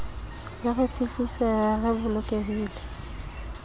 le re fihlise re bolokehile